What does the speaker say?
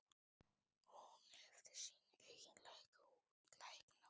Hún hefði sína eigin lækna úti.